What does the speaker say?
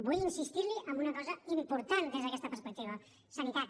vull insistir li en una cosa important des d’aquesta perspectiva sanitat